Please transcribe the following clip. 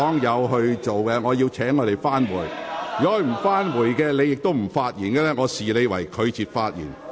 如果議員不返回座位，而你亦不發言，我會視你為拒絕發言。